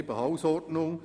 «Hausordnung: